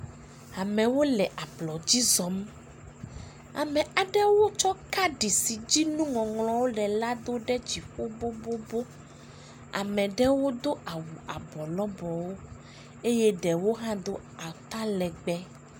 Amwo le ablɔdzi zɔm. Ame aɖewo tsɔ kaɖi si dzi nuŋɔŋlɔwo le la do ɖe dziƒo bobobo. Ame aɖewo do awu abɔ lɔbɔwo eye ɖewo hã do atalegbe.